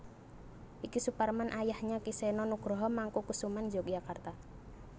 Ki Suparman ayahnya Ki Seno Nugroho Mangkukusuman Yogyakarta